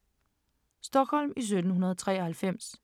Stockholm i 1793